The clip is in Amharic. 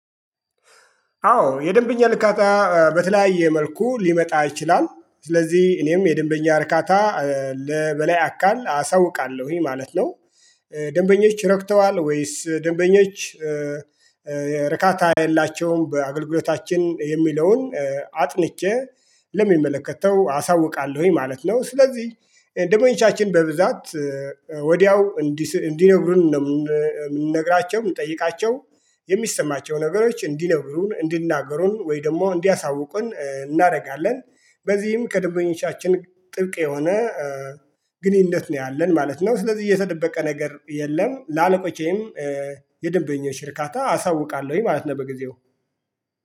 አዎ የደንበኛ ዕርካታ በተለያየ መልኩ ሊመጣ ይችላል ስለዚህ እኔም የደንበኛ ዕርካታ ለበላይ አካል አሳውቃለሁኝ ማለት ነው። ደንበኞች ረክተዋል ወይስ ደንበኞች ዕርካታ የላቸውም? በአገልግሎታችን የሚለውን አጥንቼ ለሚመለከተው አሳውቃለሁኝ ማለት ነው። ስለዚህ ደንበኞቻችን በብዛት ወዲያው እንዲነግሩን ነው የምንነግራቸው የምንጠይቃቸው የሚሰማቸውን ነገሮች እንዲነግሩን እንዲናገሩን ወይ ደግሞ እንዲያሳውቁን እናደርጋለን። በዚህም ከደበኞቻችን ጥብቅ የሆነ ግንኙነት ነው ያለን ማለት ነው። ስለዚህ እየተደበቀ ነገር የለም። ለአለቆቼም የደንበኞች ዕርካታ አሳውቃለሁኝ ማለት ነው። በጊዜው